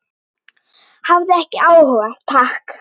Hafði ekki áhuga, takk.